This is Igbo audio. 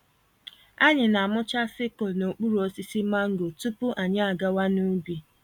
Anyị na-amụcha sickle n'okpuru osisi mango tupu anyị àgawà n'ubi.